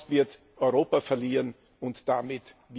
Sonst wird Europa verlieren und damit